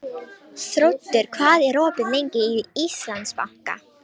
Þóroddur, hvað er opið lengi í Íslandsbanka?